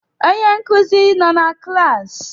Onye nkuzi nọ na klaasị?